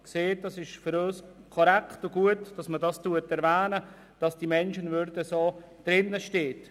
Es ist für uns korrekt und gut, dass dies erwähnt wird und dass die Menschwürde im Gesetz steht.